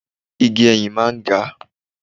Igi ẹyìn máa ń ga.